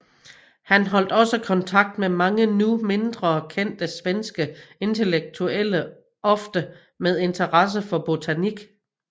Han holdt også kontakt med mange nu mindre kendte svenske intellektuelle ofte med interesse for botanik